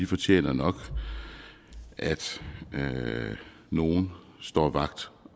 fortjener nok at nogen står vagt